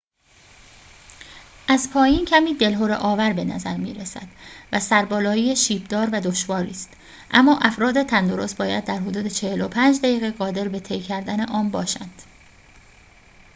از پایین کمی دلهره آور به نظر می رسد و سربالایی شیب دار و دشواری است اما افراد تندرست باید در حدود ۴۵ دقیقه قادر به طی کردن آن باشند